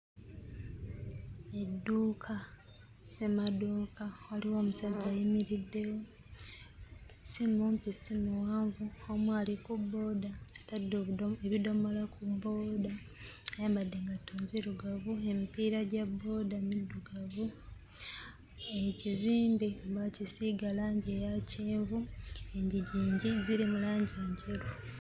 Edduuka ssemaduuka. Waliwo omusajja ayimiriddewo, si mumpi si muwanvu, omu ali ku bbooda, atadde ebido ebidomola ku bbooda ayambadde engatto nzirugavu, emipiira gya bbooda middugavu, ekizimbe baakisiiga langi eya ya kyenvu, enzigi ziri mu langi njeru.